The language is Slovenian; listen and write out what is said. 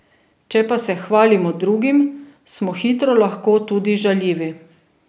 Če pa se hvalimo drugim, smo hitro lahko tudi žaljivi.